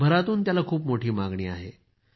जगभरातून त्याला खूप मोठी मागणी आहे